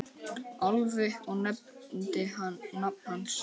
Álfi og nefndi nafn hans.